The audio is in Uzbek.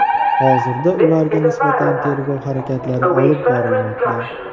Hozirda ularga nisbatan tergov harakatlari olib borilmoqda.